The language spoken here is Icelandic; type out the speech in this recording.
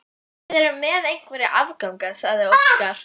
Við erum með einhverja afganga, sagði Óskar.